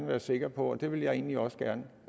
være sikker på og det vil jeg egentlig også gerne